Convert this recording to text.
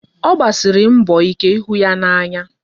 Ọ gbasiri mbọ ike ịhụ ya n'anya.